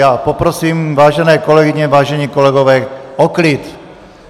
Já poprosím, vážené kolegyně, vážení kolegové, o klid!